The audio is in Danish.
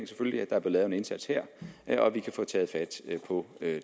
der bliver lavet en indsats her og at vi kan få taget fat på